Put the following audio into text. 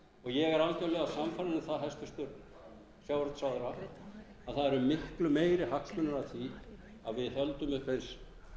ég er algerlega sannfærður um það hæstvirtur sjávarútvegsráðherra að það eru miklu meiri hagsmunir af því að við höldum uppi eins